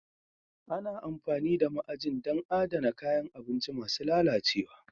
Ana amfani da ma'ajin don adana kayan abinci masu lalacewa